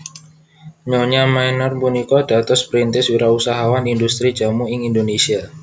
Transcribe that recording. Nyonya Meneer punika dados perintis wirausahawan indhustri jamu ing Indonesia